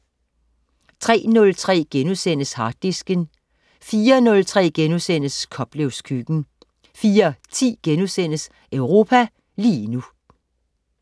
03.03 Harddisken* 04.03 Koplevs Køkken* 04.10 Europa lige nu*